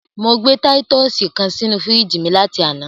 Mo gbé títùsì kan sínú fíríjì mi láti àná.